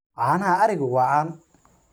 Caanaha arigu waa caan.